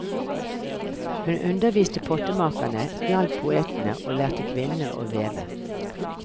Hun underviste pottemakerne, hjalp poetene og lærte kvinnene å veve.